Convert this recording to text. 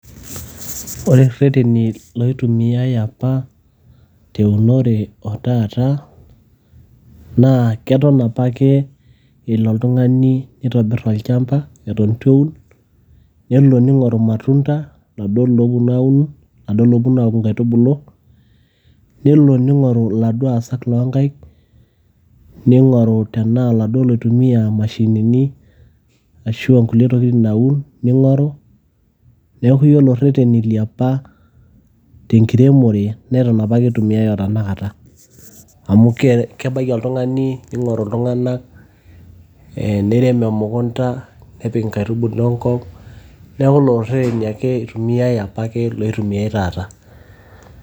ore irreteni loitumiay apa teunore otaata naa keton apake elo oltung'ani nitobirr olchamba eton etu eun nelo ning'oru imatunda laduo looponu aun laduo looponu aaku inkaitubulu nelo ning'oru iladuo aasak loonkaik, ning'oru tenaa iladuo loitumiya imashinini ashu inkulie tokitin naun ning'oru neeku yiolo irreteni liapa tenkiremore neton apake itumiay otanakata amu kebaiki oltung'ani ning'oru iltung'anak neirem emukunta nepik inkaitubulu enkop neeku lelo rreteni ake itumiay apake loitumiay taata.